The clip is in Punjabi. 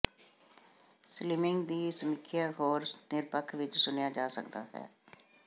ਸਲਿਮਿੰਗ ਦੀ ਸਮੀਖਿਆ ਹੋਰ ਨਿਰਪੱਖ ਵਿਚ ਸੁਣਿਆ ਜਾ ਸਕਦਾ ਹੈ